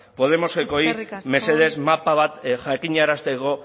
podemosekoei mesedez mapa bat jakinarazteko